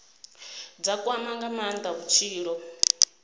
dza kwama nga maanda vhutshilo